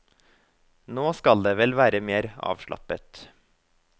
Nå skal det vel være mer avslappet.